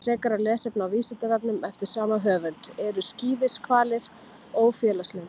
Frekara lesefni á Vísindavefnum eftir sama höfund: Eru skíðishvalir ófélagslyndir?